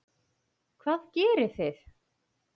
Hvað gerið þið?